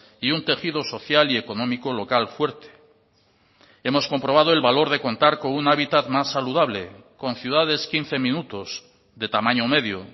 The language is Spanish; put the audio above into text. y un tejido social y económico local fuerte hemos comprobado el valor de contar con un hábitat más saludable con ciudades quince minutos de tamaño medio